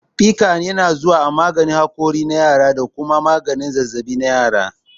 Piccan yana zuwa a maganin hakuri na yara da kuma maganin zazzaɓi na yara.